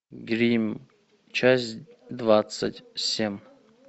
гримм часть двадцать семь